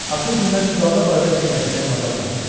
Axır günlər Südabə barədə fikirləşməyə macal tapmırdı.